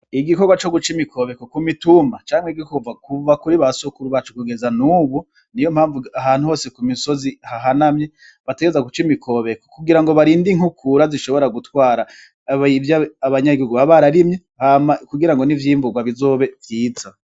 Igikorwa coguca imikobeko ku mitumba canke, kuva kuri ba sokuru bacu kugeza n'ubu ni yo mpamvu ahantu hose ku misozi hahanamye bategerezwa guca imikobeko kugira ngo barinde inkukura zishobora gutwara ivyo abanyagihugu baba bararimye hama kugira ngo n'ivyimburwa bizobe vyiza.